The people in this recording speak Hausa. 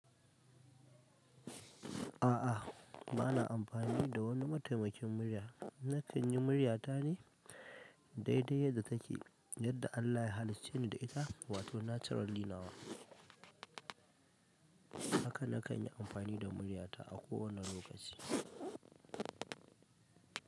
A'a, ba na amfani da wani mataimakin murya. Na kan yi murya ta ne dai dai yadda take, yadda Allah ya halicce ni da ita, wato nacaral nawa. Haka na kan yi amfani da murya ta a kowane lokaci.